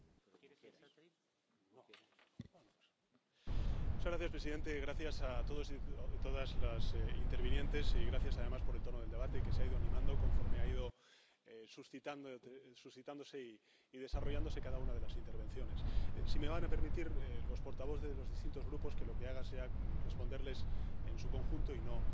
Señor presidente, gracias a todos y todas las intervinientes y gracias, además, por el tono del debate, que se ha ido animando conforme ha ido suscitándose y desarrollándose cada una de las intervenciones. Sí me van a permitir los portavoces de los distintos Grupos que lo que haga sea responderles en su conjunto y no